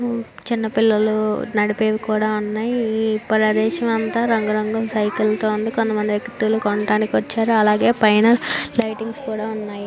చిన్న పిల్లలు నడిపేవి కూడా ఉన్నాయ్ ప్రదేశా అంట రంగు రంగులుగా సైకిల్ తో ఉన్నాయ్ కొన్ని వేక్తిలు కొంటానికి వచ్చారు అలాగే పైన లైటింగ్స్ కూడా ఉన్నాయ్.